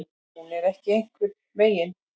Hún er ekki einhvern veginn.